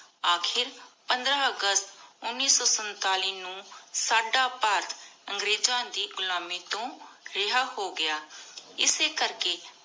ਅਖੀਰ ਪੰਦ੍ਰ ਅਗਸਤ ਉਨੀ ਸੋ ਸੰਤਾਲਿਸ ਨੂ ਸਦਾ ਭਾਰਤ ਅੰਗ੍ਰੇਜ਼ਾਂ ਦੇ ਘੁਲਮਿ ਤੂ ਰਿਹਾ ਹੋ ਗਯਾ ਇਸੀ ਕਰ ਕੀ